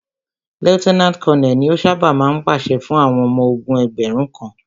Lieutenant Colonel ni o ṣábà máa ń pàṣẹ fún àwọn ọmọ ogún ẹgbẹ̀rún kan.